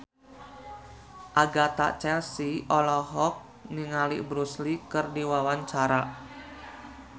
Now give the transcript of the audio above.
Agatha Chelsea olohok ningali Bruce Lee keur diwawancara